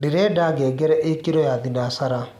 ndĩrenda ngengere ikirwo ya thĩnacara